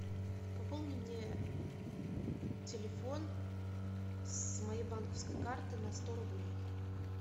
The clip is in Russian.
пополни мне телефон с моей банковской карты на сто рублей